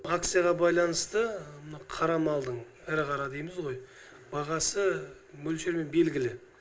акцияға байланысты мына қара малдың ірі қара дейміз ғой бағасы мөлшермен белгілі